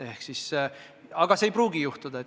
Aga seda kõike ei pruugi juhtuda.